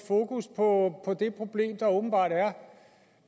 fokus på det problem der åbenbart er